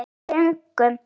Við göngum